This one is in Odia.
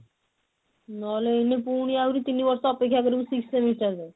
ନହେଲେ ଏଇନେ ପୁଣି ଆହୁରି ତିନି ବର୍ଷ ଅପେକ୍ଷା କରିବୁ sixth semester ଯାଏଁ